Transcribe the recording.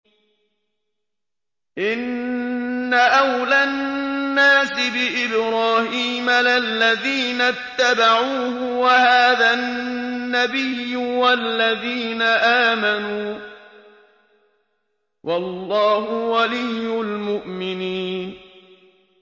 إِنَّ أَوْلَى النَّاسِ بِإِبْرَاهِيمَ لَلَّذِينَ اتَّبَعُوهُ وَهَٰذَا النَّبِيُّ وَالَّذِينَ آمَنُوا ۗ وَاللَّهُ وَلِيُّ الْمُؤْمِنِينَ